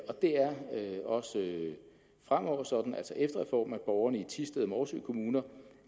og det er også fremover sådan altså efter reformen at borgerne i thisted og morsø kommuner